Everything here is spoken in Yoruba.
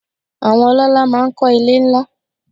Àwọn ọlọ́lá máa ń kọ́ ilé ńlá.